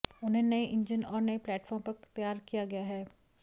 इन्हें नए इंजिन और नए प्लैटफ़ॉर्म पर तैयार किया गया है